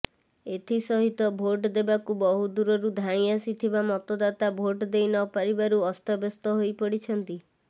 ଏଥି ସହିତ ଭୋଟ୍ ଦେବାକୁ ବହୁ ଦୂରରୁ ଧାଇଁ ଆସିଥିବା ମତଦାତା ଭୋଟ୍ ଦେଇ ନପାରିବାରୁ ଅସ୍ତବ୍ୟସ୍ତ ହୋଇପଡିଛନ୍ତି